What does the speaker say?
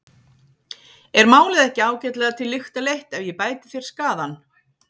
Er málið ekki ágætlega til lykta leitt ef ég bæti þér skaðann?